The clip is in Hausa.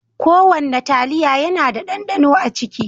Ko wanna taliya yana da ɗanɗano a ciki.